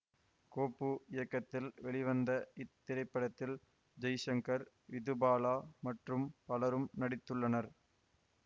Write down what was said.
கோபு இயக்கத்தில் வெளிவந்த இத்திரைப்படத்தில் ஜெய்சங்கர் விதுபாலா மற்றும் பலரும் நடித்துள்ளனர்